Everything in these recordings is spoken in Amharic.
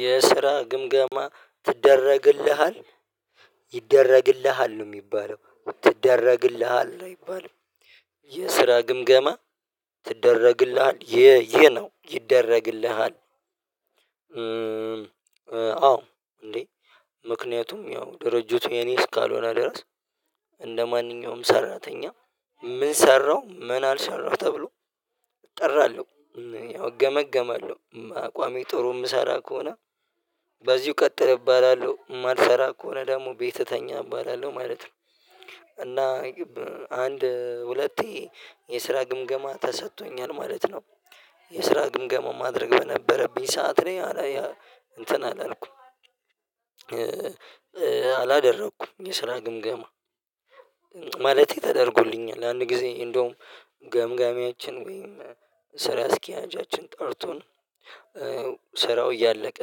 የስራ ግምገማ ትደረግልሃል ይደረግልሃል ነው የሚባለው ትደረግልሃል አይባልም የስራ ግምገማ ትደረግልሃል ይሄ ይሄ ነው ይደረግልሃል። አዎ እንዴ? ምክንያቱም ያው ድርጅቱ የኔ እስካልሆነ ድረስ እንደማንኛውም ሰራተኛ ምን ሰራው ምን አልሰራሁ ተብሎ እጠራለሁ ያው እገመገማለሁ አቋሜ ጥሩ የምሰራ ከሆነ በዚሁ ቀጥል እባላለሁ የማልሰራ ከሆነ ደግሞ ቤት ተኛ እባላለሁ ማለት ነው። እና አንድ ሁለቴ የስራ ግምገማ ተሰቶኛል ማለት ነው። የስራ ግምገማው ማድረግ በነበረብኝ ሰዓት እኔ አላ እንትን አላልኩም አላደረኩም የስራ ግምገማ ማለቴ ተደርጎልኛል። አንድ ጊዜ እንደውም ገምጋሚያችን ወይም ስራ አስኪያጃችን ጠርቶን ስራው እያለቀ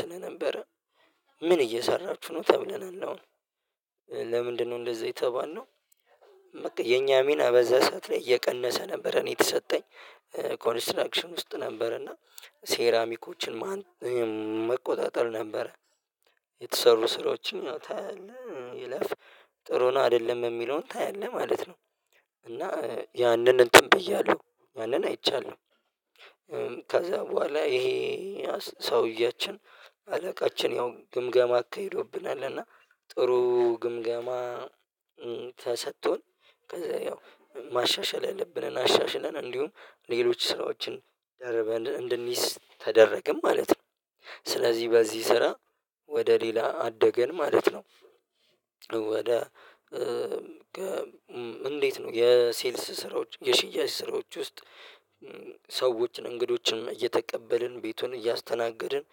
ስለነበረ ምን እየሰራችሁ ነው ተብለናል አሁን ለምንድነው እንደዚያ የተባለነው? የኛ ሚና በዛ ሰዓት ላይ እየቀነሰ ነበር እኔ የተሰጠኝ ኮንስትራክሽን ውስጥ ነበር እና ሴራሚኮችን መቆጣጠር ነበረ የተሰሩ ስራዎችን ታያለህ ይለፍ ጥሩ ነው አይደለም የሚለውን ታያለህ ማለት ነው። እና ያንን እንትን ብያለሁ ያንን አይቻለው። ከዛ በኋላ ይሄ ሰውያችን አለቃችን ያው ግምገማ አካሂዶብናል እና ጥሩ ግምገማ ተሰጥቶን ከዛ ያው ማሻሻል ያልብንን አሻሽለን እንዲሁም ሌሎች ስራዎችን ደርበን እንድንይዝ ተደረገን ማለት ነው። ስለዚህ በዚህ ስራ ወደ ሌላ አደገን ማለት ነው። ወደ እንዴት ነው የሴልስ ስራዎች የሽያጭ ስራዎች ውስጥ? ሰዎችን እንግዶችንም እየተቀበልን ቤቱን እያስተናገድን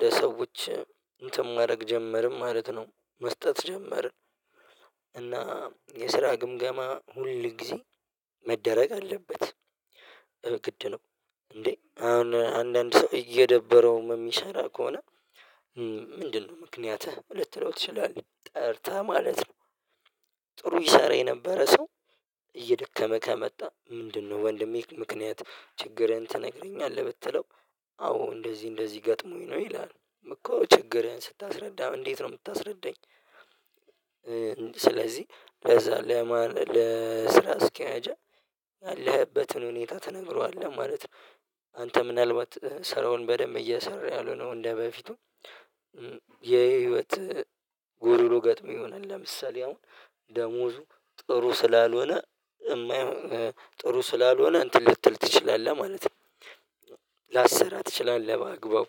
ለሰዎች እንትን ማድረግ ጀመርን ማለት ነው። መስጠት ጀመርን እና የስራ ግምገማ ሁል ጊዜ መደረግ አለበት። ግድ ነው እንዴ አሁን አንዳንድ ሰው እየደበረውም የሚሰራ ከሆነ ምንድነው ምክንያትህ ልትለው ትችላለህ? ጠርተህ ማለት ነው። ጥሩ ይሰራ የነበረ ሰው እየደከመ ከመጣ ምንድነው? ወንድሜ ምክንያት ችግርህን ተነግረኛለህ ብትለው አዎ እንደዚህ እንደዚህ ገጥሞኝ ነው ይላል እኮ ችግርህን ስታስረዳ እንዴት ነው የምታስረዳኝ? ስለዚህ ለዛ ለስራ አስኪያጃ ያለህበትን ሁኔታ ትነግረዋለህ ማለት ነው። አንተ ምናልባት ስራውን በደንብ እየሰራ ያልሆነው እንደበፊቱ የህይወት ጎዶሎ ገጥሞህ ይሆናል። ለምሳሌ አሁን ደሞዙ ጥሩ ስላልሆነ የማይሆን ጥሩ ስላልሆነ እንትን ልትል ትችላለህ ማለት ነው። ላሰራ ትችላለህ ባአግባቡ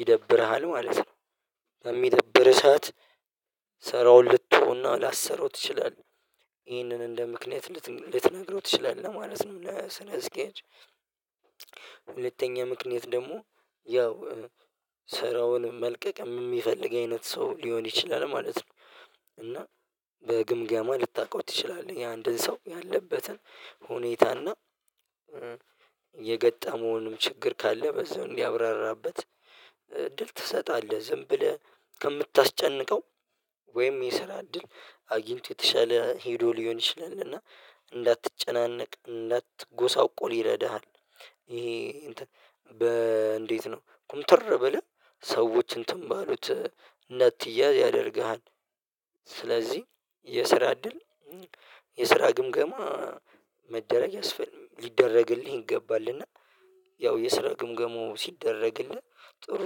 ይደብርሃል ማለት ነው። በሚደብርህ ሰዓት ሰራውን ልተዎው እና ላሰራው ትችላለህ ይህንን እንደ ምክንያት ልትነግረው ትችላለህ ማለት ለ ስራ አስኪያጅ። ሁለተኛ ምክንያት ደግሞ ያው ስራውን መልቀቅ የሚፈልግ አይነት ሰው ሊሆን ይችላል ማለት ነው። እና በግምገማ ልታውቀው ትችላለህ የአንድን ሰው ያለበትን ሁኔታና የገጣመውንም ችግር ካለ በዛው እንዲያብራራበት እድል ትሰጣለህ ዝም ብለህ ከምታስጨንቀው ወይም የስራ ድል አጊንቶ የተሻለ ሄዶ ሊሆን ይችላል እና እንዳትጨናነቅ እንዳትጎሳቆል ይረዳሃል። ይሄ እንዴት ነው ኩምትር ብለህ ሰዎች እንትን ባሉት ነጥያ ያደርግሃል። ስለዚህ የስራ እድል የስራ ግምገማ መደረግ ያስፈል ሊደረግልህ ይገባል። እና ያው የስራ ግምገሞ ሲደረግልህ ጥሩ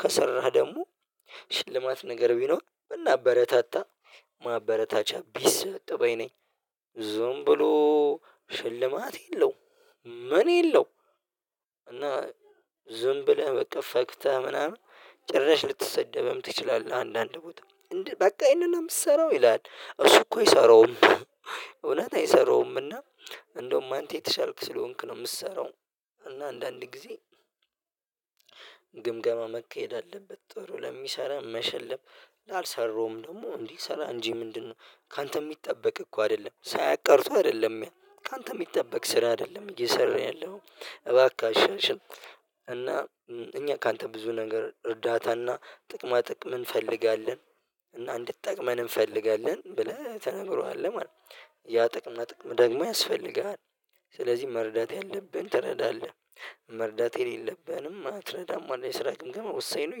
ከሰራህ ደግሞ ሽልማት ነገር ቢኖር ብናበረታታ ማበረታቻ ቢሰጥ ባይ ነኝ። ዝም ብሎ ሽልማት የለውም ምን የለው? እና ዝም ብለህ በቃ ፈግተህ ምናምን ጭራሽ ልትሰደብም ትችላለህ አንዳንድ ቦታ እንደ በቃ ይሄንን የምትሰራው ይላል እሱ እኮ ይሰራውም እውነት አይሰራውምና እንደውም አንተ የተሻልክ ስለሆንክ ነው። የምሰራው እና አንዳንድ ጊዜ ግምገማ መካሄድ አለበት። ጥሩ ለሚሰራ መሸለም ላልሰራውም ደግሞ እንዲሰራ እንጂ ምንድነው ካንተ የሚጠበቅ እኮ አይደለም? ሳያቅ ቀርቶ አይደለም ያ ካንተ የሚጠበቅ ስራ አይደለም እየሰራህ ያለው እባክህ አሻሽል። እኛ ካንተ ብዙ ነገር እርዳታና ጥቅማ ጥቅም እንፈልጋለን እና እንድጠቅመን እንፈልጋለን ብለህ ተነግረዋለህ ማለት ነው ያ ጥቅም እና ጥቅም ደግሞ ያስፈልግሃል። ስለዚህ መረዳት ያለብን ትረዳለህ መረዳት የሌለብህንም አትረዳም አለ የስራ ግምገማ ወሳኝ ነው።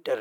ይደረግ